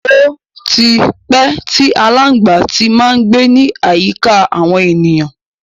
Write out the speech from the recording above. Ó tí pẹ́ tí aláǹgbá ti má ń gbé ní àyíká àwọn ènìyàn.